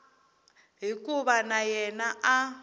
hikuva na yena a a